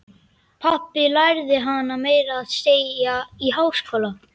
Pabbi lærði hana meira að segja í háskóla.